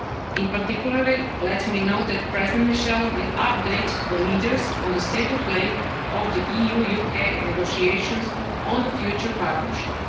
In particular, let me note that President Michel will update the leaders on the state of play of the EU-UK negotiations on the future partnership.